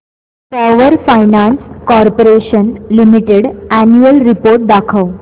power Finance Corporation Limited annual report दाखव